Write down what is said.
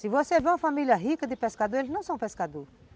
Se você vê uma família rica de pescador, eles não são pescadores